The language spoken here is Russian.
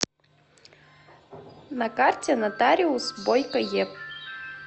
на карте нотариус бойко еб